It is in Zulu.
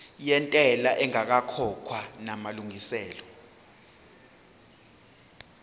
yentela ingakakhokhwa namalungiselo